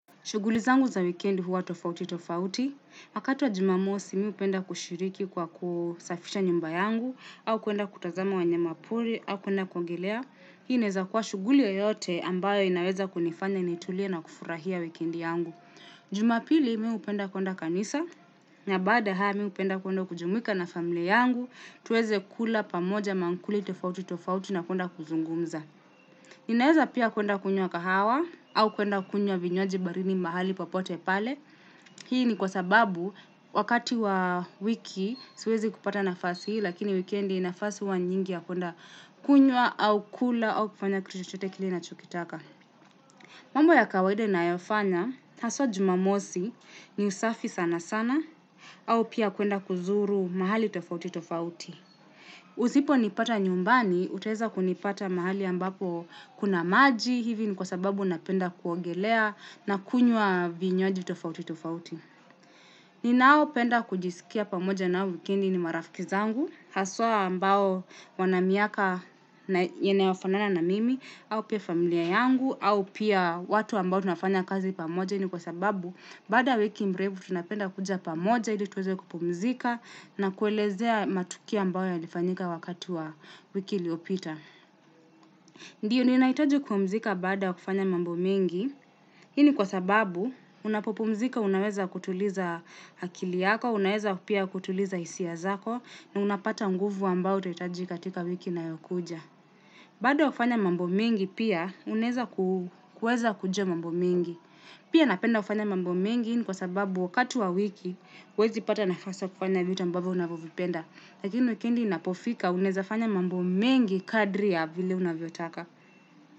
Shughuli zangu za wikendi huwa tofauti tofauti. Wakati wa jumamosi mimi hupenda kushiriki kwa kusafisha nyumba yangu, au kuenda kutazama wanyama pori, au kuenda kuogelea. Hii inaweza kuwa shughuli yoyote ambayo inaweza kunifanya nitulie na kufurahia wikendi yangu. Jumapili mimi hupenda kuenda kanisa, na baada ya hayo mimi hupenda kuenda kujumuika na familia yangu, tuweze kula pamoja mamkuli tofauti tofauti na kuenda kuzungumza. Ninaeza pia kuenda kunywa kahawa au kuenda kunywa vinywaji baridi mahali popote pale. Hii ni kwa sababu wakati wa wiki siwezi kupata nafasi hii lakini wikendi nafasi huwa nyingi ya kuenda kunywa au kula au kufanya kitu chochote kile ninachokitaka. Mambo ya kawaida ninayofanya, haswa jumamosi ni usafi sana sana au pia kuenda kuzuru mahali tofauti tofauti. Usiponipata nyumbani, utaweza kunipata mahali ambapo kuna maji, hivi ni kwa sababu napenda kuogelea na kunywa vinywaji tofauti tofauti. Ninaopenda kujiskia pamoja nao wikendi ni marafiki zangu, haswa ambao wana miaka yanayofanana na mimi, au pia familia yangu, au pia watu ambao tunafanya kazi pamoja ni kwa sababu, baada ya wiki mrefu tunapenda kuja pamoja ili tuweze kupumzika na kuelezea matukio ambayo yalifanyika wakati wa wiki iliopita. Ndio ninahitaji kupumzika baada ya kufanya mambo mingi. Hii ni kwa sababu unapopumzika unaweza kutuliza akili yako, unaweza pia kutuliza hisia zako na unapata nguvu ambao utahitaji katika wiki inayokuja. Baada ya kufanya mambo mingi pia unaweza kuweza kujua mambo mengi. Pia napenda kufanya mambo mengi ni kwa sababu wakati wa wiki huwezi pata nafasi kufanya vitu ambavyo unavovipenda lakini wikendi inapofika unawezafanya mambo mengi kadri ya vile unavyotaka.